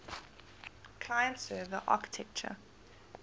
client server architecture